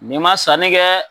Nin ma sanni kɛ.